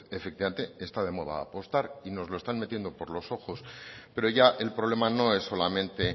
efectivamente está de moda apostar y nos lo están metiendo por los ojos pero ya el problema no es solamente